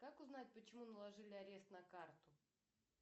как узнать почему наложили арест на карту